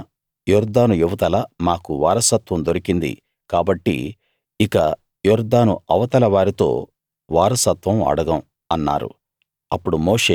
తూర్పున యొర్దాను ఇవతల మాకు వారసత్వం దొరికింది కాబట్టి ఇక యొర్దాను అవతల వారితో వారసత్వం అడగం అన్నారు